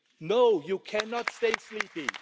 No you cannot stay sleeping.